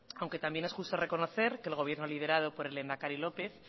aunque también es justo reconocer que el gobierno liderado por el lehendakari lópez